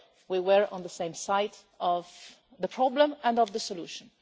We were on the same side of the problem and of the solution.